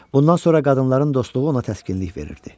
Bundan sonra qadınların dostluğu ona təskinlik verirdi.